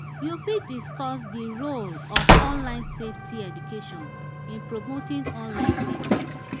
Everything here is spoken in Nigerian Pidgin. you fit discuss di role of online safety education in promoting online safety.